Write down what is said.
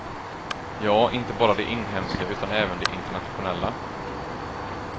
Ja, inte bara de inhemska utan även de internationella.